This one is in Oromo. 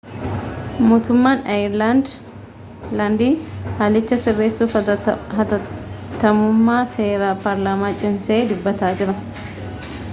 mootummaan aayerlaandii haalicha sirreessuuf haatattamummaa seera paarlaamaa cimsee dubbataa jira